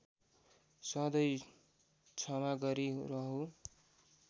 सधैँ क्षमा गरि रहु